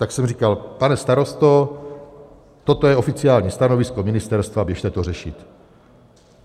Tak jsem říkal: Pane starosto, toto je oficiální stanovisko ministerstva, běžte to řešit.